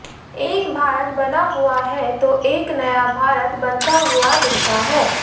एक भारत बना हुआ है तो एक नया भारत बनता हुआ दिखता है